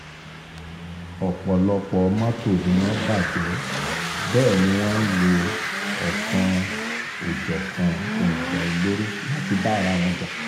ọ̀pọ̀lọpọ̀ mọ́tò ni wọ́n bàjẹ́ bẹ́ẹ̀ ni wọ́n ń lo ọ̀kan-ò-jọ̀kan ohun ìjà olóró láti bá ara wọn jà